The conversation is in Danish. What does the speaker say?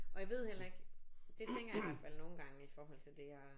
Og jeg ved heller ikke. Det tænker jeg i hvert fald nogen gange i forhold til det her